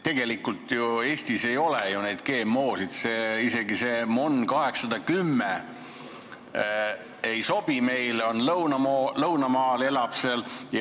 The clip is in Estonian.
Tegelikult ju Eestis ei ole neid GMO-sid, isegi see MON 810 ei sobi meile, see on lõunamaal, elab seal.